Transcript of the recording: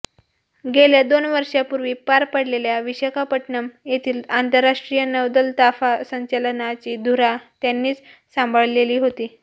गेल्या दोन वर्षापूर्वी पार पडलेल्या विशाखापट्टणम येथील आंतरराष्ट्रीय नौदल ताफा संचलनाची धुरा त्यांनीच सांभाळलेली होती